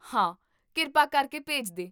ਹਾਂ, ਕਿਰਪਾ ਕਰਕੇ ਭੇਜ ਦੇ